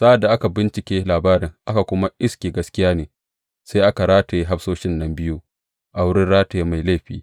Sa’ad da aka bincika labarin aka kuma iske gaskiya ne, sai aka rataye hafsoshin nan biyu a wurin rataye mai laifi.